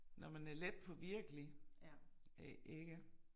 Når man er letpåvirkelig øh ikke